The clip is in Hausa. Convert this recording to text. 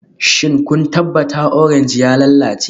Shin kun tabbata orange ya lalace?